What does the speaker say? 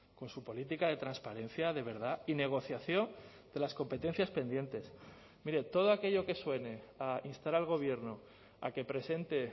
con su política de transparencia de verdad y negociación de las competencias pendientes mire todo aquello que suene a instar al gobierno a que presente